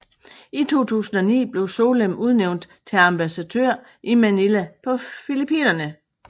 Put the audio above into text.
I 2009 blev Solem udnævnt til ambassadør i Manila på Filippinerne